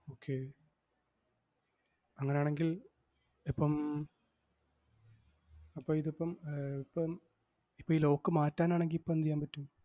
Okay അങ്ങനാണെങ്കിൽ ഇപ്പം അപ്പം ഇതിപ്പം ഏർ ഇപ്പം ഇപ്പം ഈ lock മാറ്റാനാണെങ്കി ഇപ്പം എന്തു ചെയ്യാൻ പറ്റും?